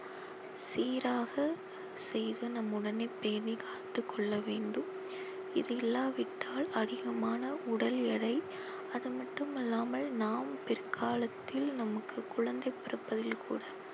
சீராக செய்து நம் உடலை பேணி காத்துக் கொள்ள வேண்டும் இது இல்லாவிட்டால் அதிகமான உடல் எடை அது மட்டுமல்லாமல் நாம் பிற்காலத்தில் நமக்கு குழந்தை பிறப்பதில் கூட